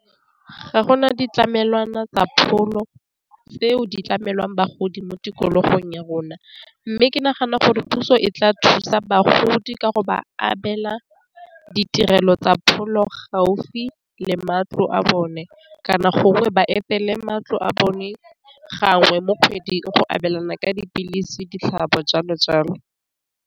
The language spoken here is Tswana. Ga gona ditlamelwana tsa pholo tseo di tlamelwang bagodi mo tikologong ya rona, mme ke nagana gore puso e tla thusa bagodi ka go ba abela ditirelo tsa pholo gaufi le matlo a bone kana gongwe ba etele matlo a bone gangwe mo kgweding go abelana ka dipilisi ditlhatlhobo jalo jalo.